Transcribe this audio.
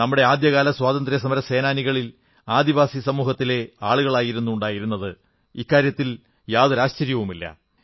നമ്മുടെ ആദ്യകാല സ്വാതന്ത്ര്യ സമര സേനാനികളിൽ ആദിവാസിസമൂഹത്തിലെ ആളുകളായിരുന്നു ഉണ്ടായിരുന്നത് എന്നതിൽ ആശ്ചര്യമില്ല